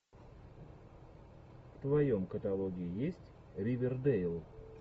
в твоем каталоге есть ривердейл